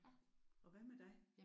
Og hvad med dig?